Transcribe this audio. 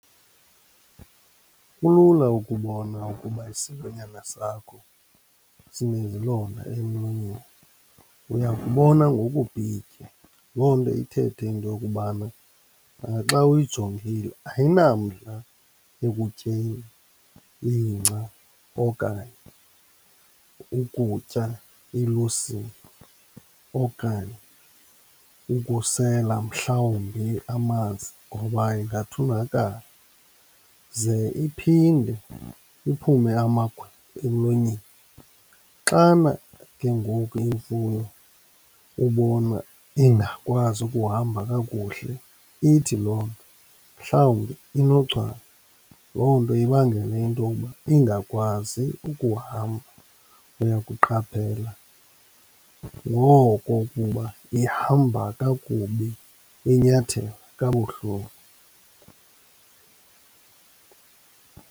Kulula ukubona ukuba isilwanyana sakho sinezilonda emlonyeni, uyakubona ngokubhitya. Loo nto ithethe into yokubana naxa uyijongile ayinamdla ekutyeni ingca okanye ukutya ilusini, okanye ukusela mhlawumbi amanzi ngoba ingathunakala. Ze iphinde iphume amagwebu emlonyeni. Xana ke ngoku imfuyo ubona ingakwazi ukuhamba kakuhle ithi loo nto mhlawumbi inochwane. Loo nto ibangele intowuba ingakwazi ukuhamba. Uyakuqaphela ngoko ukuba ihamba kakubi, inyathela kabuhlungu.